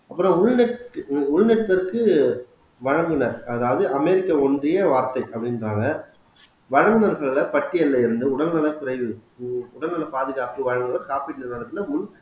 அப்புறம் உள் வழங்குனர் அதாவது அமெரிக்க ஒன்றிய வார்த்தை அப்படின்றாங்க வல்லுநர்களை பட்டியல்ல இருந்து உடல்நலக் குறைவு உடல்நல பாதுகாப்பு வழங்க காப்பீட்டு நிறுவனத்திலே உள்